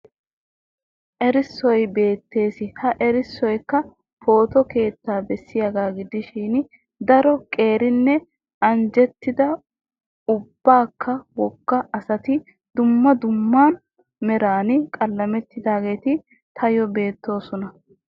Erissoy beettes. Ha erissoyikka pooto keettaa bessiyagaa gidishin daro qeerinne anjjettida uppakka wogga asati duma dumma meran alleqettidaageeti tayyoo beettoosona.